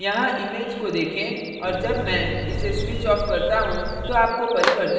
यहाँ image को देखें और जब मैं इसे switch off करता look तो आपको परिवर्तन दिखाई पड़ता है